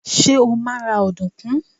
Ṣé́ ó máa ra ọ̀dùnkún?